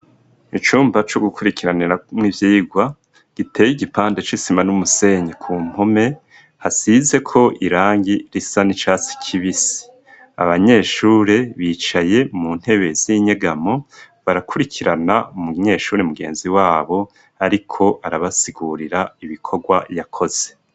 Icumba co gukurikiranira mw'ivyigwa giteye igipande c'isima n'umusenyi ku mpume hasizeko irangi risa nicasi kibisi abanyeshuri bicaye mu ntebe z'inyegamo barakurikirana umunyeshuri mugenzi wabo ariko arabasigurira ibikorwa yakoze.